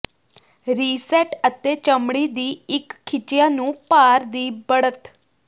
reset ਅਤੇ ਚਮੜੀ ਦੀ ਇੱਕ ਖਿੱਚਿਆ ਨੂੰ ਭਾਰ ਦੀ ਬੜ੍ਹਤ